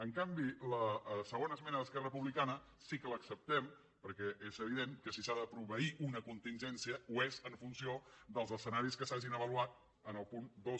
en canvi la segona esmena d’esquerra republicana sí que l’acceptem perquè és evident que si s’ha de proveir una contingència ho és en funció dels escenaris que s’hagin avaluat en el punt dos